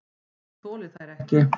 Ég þoli þær ekki.